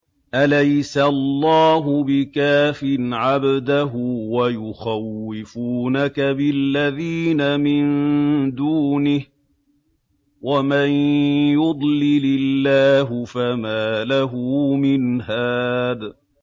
أَلَيْسَ اللَّهُ بِكَافٍ عَبْدَهُ ۖ وَيُخَوِّفُونَكَ بِالَّذِينَ مِن دُونِهِ ۚ وَمَن يُضْلِلِ اللَّهُ فَمَا لَهُ مِنْ هَادٍ